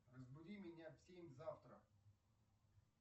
разбуди меня в семь завтра